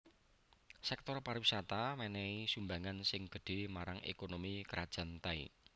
Sèktor pariwisata mènèhi sumbangan sing gedhé marang ékonomi Krajan Thai